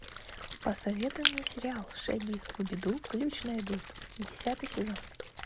посоветуй мне сериал шаги скуби ду ключ найдут десятый сезон